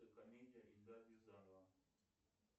комедия эльдара рязанова